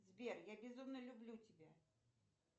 сбер я безумно люблю тебя